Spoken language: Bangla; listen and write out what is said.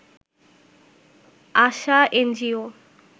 আশা এনজিও